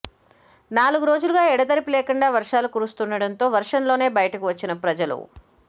నాలుగు రోజులుగు ఎడతెరిపి లేకుండా వర్షాలు కురుస్తుండటంతో వర్షంలోనే బయటకు వచ్చిన ప్రజలు